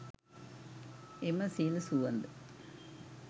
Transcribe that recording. එම සිල් සුවඳ